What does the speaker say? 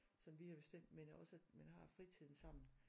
Som vi har bestemt men også at man har fritiden sammen